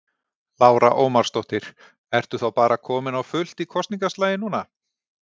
Lára Ómarsdóttir: Ertu þá bara kominn á fullt í kosningaslaginn núna?